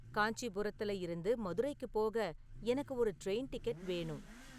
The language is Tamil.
காஞ்சிபுரத்துல இருந்து மதுரைக்குப் போக எனக்கு ஒரு ட்ரெயின் டிக்கெட் வேணும்